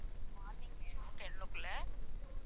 morning வேணும் ten குள்ள